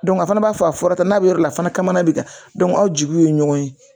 a fana b'a fɔ a fɔra ta n'a bɛ yɔrɔ wɛrɛ la fana kamana bɛ ka aw jigiw ye ɲɔgɔn ye